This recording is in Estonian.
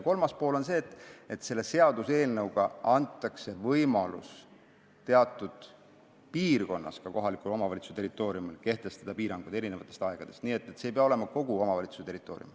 Kolmandaks, selle seaduseelnõuga antakse võimalus ka kohaliku omavalitsuse teatud piirkonnas kehtestada piiranguid eri aegadel, see ei pea olema kogu omavalitsuse territoorium.